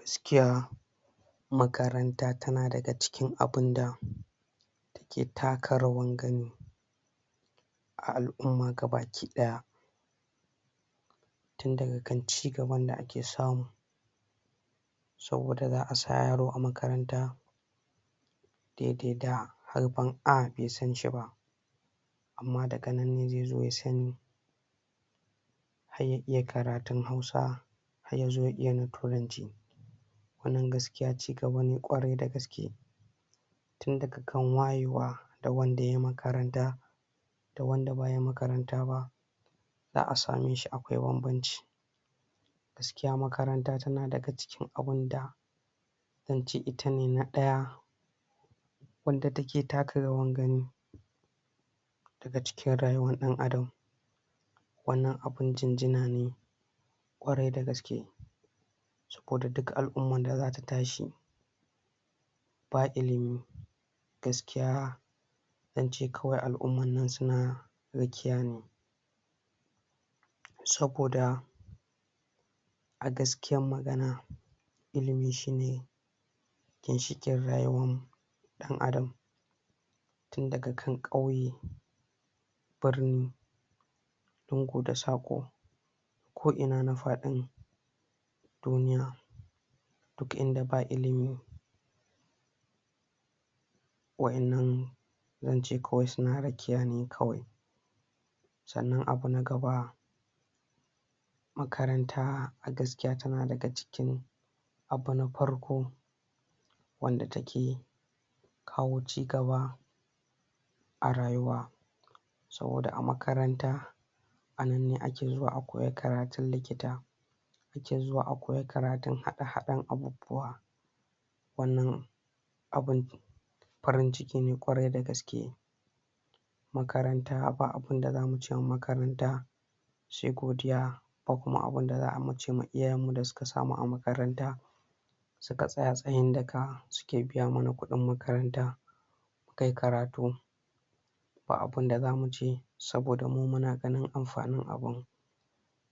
Gaskiya makaranta tana daga cikin abin da ke taka rawar gani a al'umma gabakidaya tun daga kan cigaban da ake samu saboda za a sa yaro a makaranta daidai da harafin 'A' bai san shi ba amma daga nan ne zai zo ya sani har ya iya karatun Hausa har ya zo ya iya na Turanci wannan gaskiya cigaba ne ƙwarai da gaske tun daga kan wayewa da wanda ya yi makaranta da wanda bai yi makaranta ba za a same shi ba akwai bambanci gaskiya makaranta tana daga cikin abin da zan ce ita ne na ɗaya wanda take taka rawar gani a cikin rayuwar ɗan Adam wannan abin jinjina ne ƙwarai da gaske ko da duk al'umman da za ta tashi ba ilimi gaskiya zan ce kawai al'umman nan su na rakiya ne saboda a gaskiyar magana ilimi shi ne ginshiƙin rayuwarmu ɗan Adam tun daga kan ƙauye birni lungu da saƙo ko'ina na faɗin duniya duk inda ba ilimi waƴannan zan ce kawai su na rakiya ne kawai sannan abu na gaba makaranta a gaskiya tana daga cikin abu na farko wanda take kawo cigaba a rayuwa saboda a makaranta a nan ne ake zuwa a koyi karatun likita ya zuwa a koyi karatun haɗe-haɗen abubuwa wannan abin farin-ciki ne ƙwarai da gaske makaranta ba abin da za mu cewa makaranta sai godiya ba kuma abin da za mu ce ma iyayenmu da su ka sa mu a makaranta su ka tsaya tsayin daka suke biya mana kuɗn makaranta kai karatu ba abin da za mu ce saboda mu muna ganin amfanin abin